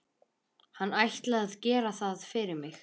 Hann ætli að gera það fyrir mig.